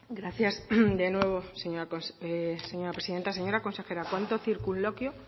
gracias de nuevo señora presidenta señora consejera cuanto circunloquio